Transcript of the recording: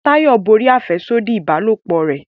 Tayo borí afẹsodi ìbálòpọ̀ rẹ